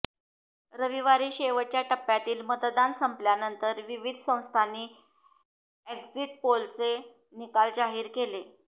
रविवारी शेवटच्या टप्प्यातील मतदान संपल्यानंतर विविध संस्थांनी एक्झिट पोलचे निकाल जाहीर केले